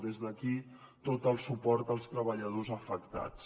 des d’aquí tot el suport als treballadors afectats